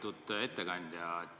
Lugupeetud ettekandja!